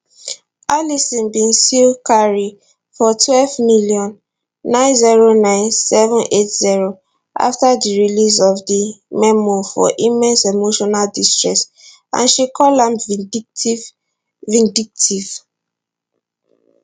alison bin sue carey for 12m 909780 afta di release of di memoir for immense emotional distress and she call am vindictive vindictive